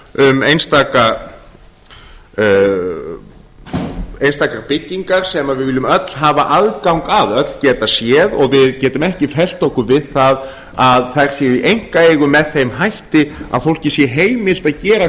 um einstakar byggingar sem við viljum öll hafa aðgang að öll geta séð og við getum ekki fellt okkur við það að þær séu í einkaeigu með þeim hætti að fólki sé heimilt að gera